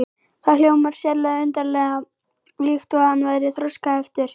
Það hljómaði sérlega undarlega, líkt og hann væri þroskaheftur.